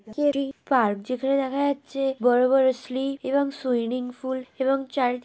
Kerry park যেখানে দেখা যাচ্ছে বড় বড় স্লিপ এবং সুইমিং পুল এবং চারিদিকে --